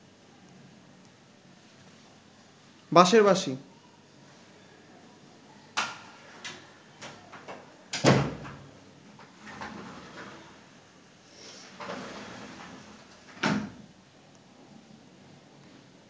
বাঁশের বাঁশি